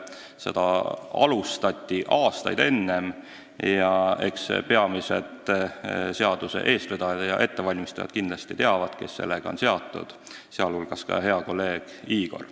Seda tööd alustati aastaid enne ja eks peamised uue seaduse eestvedajad ja ettevalmistajad kindlasti teavad, kes sellega on seotud, sh hea kolleeg Igor.